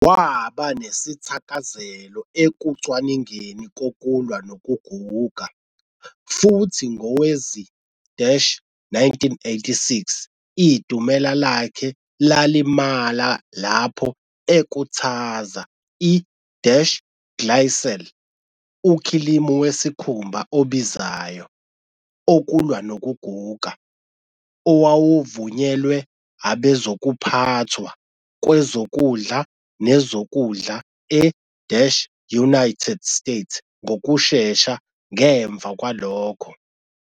Waba nesithakazelo ekucwaningeni kokulwa nokuguga, futhi ngowezi-1986 idumela lakhe lalimala lapho ekhuthaza I-Glycel, ukhilimu wesikhumba obizayo "okulwa nokuguga", owawuvunyelwe abezokuphathwa kwezokudla nezokudlae-UAnited States ngokushesha ngemva kwalokho.